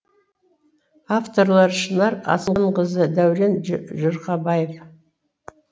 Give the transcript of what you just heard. авторлары шынар асанқызы дәурен жұрхабаев